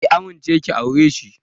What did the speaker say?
Ki amince ki aure shi!